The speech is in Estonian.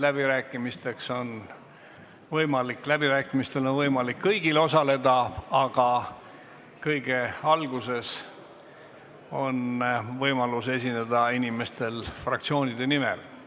Läbirääkimistel on võimalik osaleda kõigil, aga kõige alguses on võimalus esineda inimestel fraktsioonide nimel.